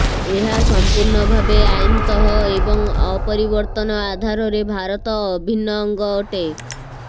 ଏହା ସଂପୂର୍ଣ୍ଣ ଭାବେ ଆଇନତଃ ଏବଂ ଅପରିବର୍ତ୍ତନ ଆଧାରରେ ଭାରତ ଅଭିନ୍ନ ଅଙ୍ଗ ଅଟେ